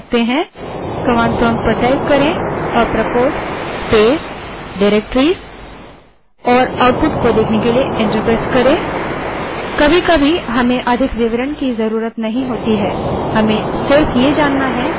command prompt पर apropos space directories type करें और output देखने के लिए enter दबायें